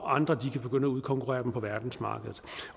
andre begynde at udkonkurrere dem på verdensmarkedet